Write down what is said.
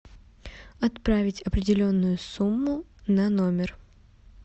отправить определенную сумму на номер